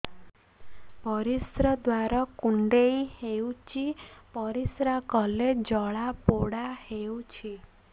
ପରିଶ୍ରା ଦ୍ୱାର କୁଣ୍ଡେଇ ହେଉଚି ପରିଶ୍ରା କଲେ ଜଳାପୋଡା ହେଉଛି